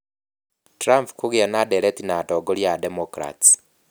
Trump kũgĩa na ndeereti na atongoria a Democrats.